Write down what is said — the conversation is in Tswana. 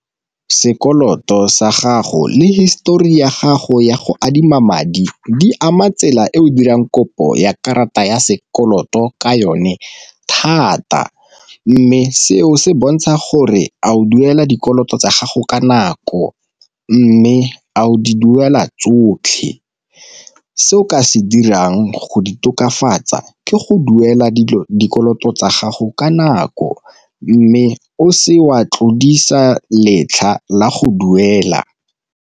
Sekoloto sa gago le histori ya gago ya go adima madi di ama tsela e o dirang kopo ya karata ya sekoloto ka yone thata, mme seo se bontsha gore a o duela dikoloto tsa gago ka nako, mme a o di duela tsotlhe. Se o ka se dirang go di tokafatsa ke go duela dikoloto tsa gago ka nako, mme o se wa tlodisa letlha la go duela.